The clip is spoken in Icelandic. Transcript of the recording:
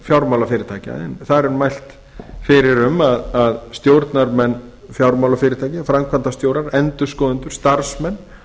fjármálafyrirtækja þar er mælt fyrir um að stjórnarmenn fjármálafyrirtækja framkvæmdastjórar endurskoðendur starfsmenn